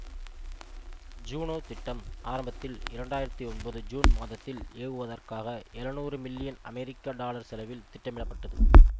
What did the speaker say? Juno திட்டம் ஆரம்பத்தில் இரண்டு ஆயிரத்தி ஒன்பது ஜூன் மாதத்தில் ஏவுவதற்காக எழுநூறு மில்லியன் அமெரிக்க டாலர் செலவில் திட்டமிடப்பட்டது